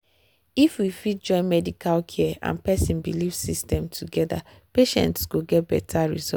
if we fit join medical care and person belief system together patients go get better results.